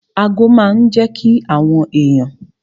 Ago máa n jẹ́ kí àwọn èèyàn